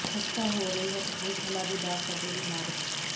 ਖ਼ਸਤਾ ਹੋ ਰਹੀ ਹੈ ਕਪੂਰਥਲਾ ਦੇ ਬੱਸ ਅੱਡੇ ਦੀ ਇਮਾਰਤ